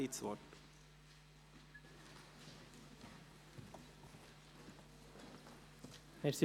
Traktandum 65 / Geschäft 2018.RRGR.536: